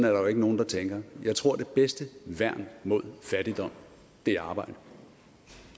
jo ikke nogen der tænker jeg tror at det bedste værn mod fattigdom er arbejde